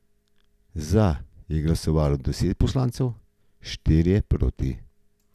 Za je glasovalo deset poslancev, štirje proti.